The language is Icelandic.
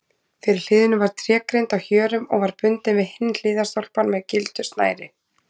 Fyrir hliðinu var trégrind á hjörum og var bundin við hinn hliðstólpann með gildu snæri.